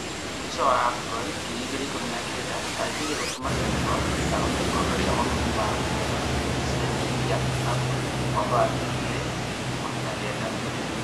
Mũico wa Afcon 2019: Algeria gũtũma Senegal ndĩkahote gĩkombe kĩa mabũri ma Africa .Gĩcindanoinĩ kĩa Afcon 2019.